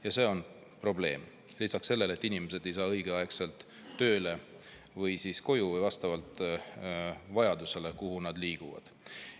Ja see on probleem, lisaks sellele, et inimesed ei saa õigeaegselt tööle või koju või vastavalt vajadusele, kuhu nad liiguvad.